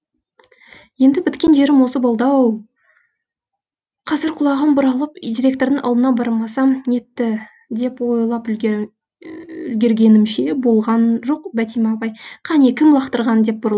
енді біткен жерім осы болды ау қазір құлағым бұралып директордың алдына бармасам нетті деп ойлап үлгергенімше болған жоқ бәтима апай қане кім лақтырған